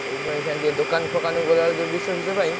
ସେଇଥିପାଇଁ ଅଇଛା ଟିକେ ଦୋକାନ ଫୋକାନ ଗଲା ବେଳକୁ ଯୋଉ ବିଷ ଫିସ ପାଇଁ।